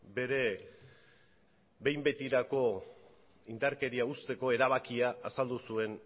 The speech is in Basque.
bere behin betirako indarkeria uzteko erabakia azaldu zuen